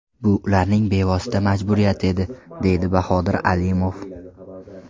Bu ularning bevosita majburiyati edi, deydi Bahodir Alimov.